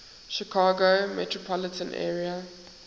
chicago metropolitan area